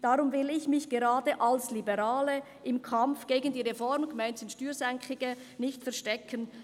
Darum will ich mich gerade als Liberale im Kampf gegen die Reform», gemeint sind die Steuersenkungen, «nicht verstecken.